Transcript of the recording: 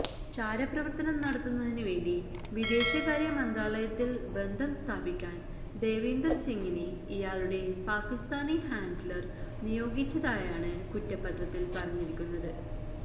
ചാരപ്രവര്ത്തനം നടത്തുന്നതിനു വേണ്ടി വിദേശകാര്യ മന്ത്രാലയത്തില് ബന്ധം സ്ഥാപിക്കാന് ദേവീന്ദര് സിംഗിനെ ഇയാളുടെ പാകിസ്താനി ഹാന്ഡ്ലര് നിയോഗിച്ചതായാണ് കുറ്റപത്രത്തില് പറഞ്ഞിരിക്കുന്നത്